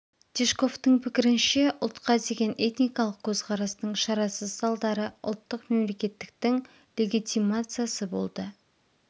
тишковтың пікірінше ұлтқа деген этникалық көзқарастың шарасыз салдары ұлттық мемлекеттіктің легитимациясы болды